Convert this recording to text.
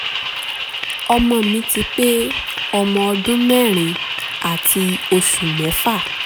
ọmọ mi ti pé ọmọ ọdún mẹ́rin àti oṣù mẹ́fà